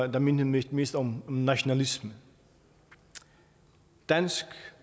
der mindede mest mest om nationalisme dansk